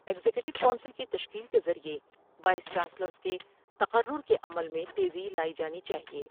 Executive council کی تشکیل کے ذریعہ وائس چانسلرس کے تقرر کے عمل میں تیزی لائی جانی چاہئے ۔